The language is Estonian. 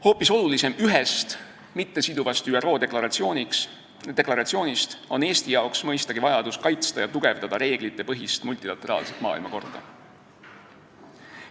Hoopis olulisem ühest mittesiduvast ÜRO deklaratsioonist on Eestile mõistagi vajadus kaitsta ja tugevdada reeglitepõhist multilateraalset maailmakorda.